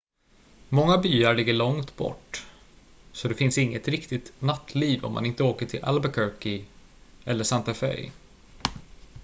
många byar ligger långt bort så det finns inget riktigt nattliv om man inte åker till albuquerque eller santa fe